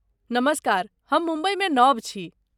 नमस्कार, हम मुम्बईमे नव छी।